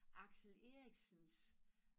Axel Eriksens